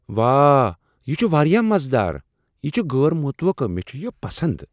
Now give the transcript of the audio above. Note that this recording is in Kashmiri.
واہ! یِہ چھ واریاہ مزٕدار، یِہ چھ غٲر متوقع۔ مےٚ چھ یِہ پسند۔